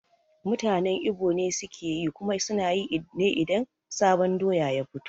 Mutanen Igbo ne sukeyi kuma sunayi ne idan sabon doya ya fito